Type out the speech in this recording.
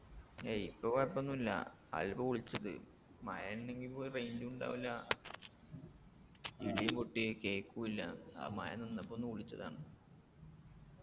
ഏയ് ഇപ്പൊ കൊഴപ്പോന്നുല്ല അയെല്ലെ ഇപ്പൊ വിളിച്ചത് മഴ ഇണ്ടെങ്കി ഇപ്പൊ range ഉ ഉണ്ടാവൂല ഇടി പൊട്ടിയെ കേക്കൂല്ല അഹ് മഴ നിന്നപ്പൊന്ന് വിളിച്ചതാണ്